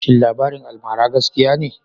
shin labarin almara gaskiya ne?